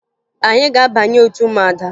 Anyị ga-abanye otu ụmụada